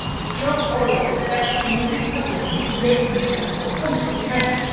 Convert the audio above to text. Jón Ólafur hékk í miðjum kaðlinum í leikfimissalnum og komst ekki hærra.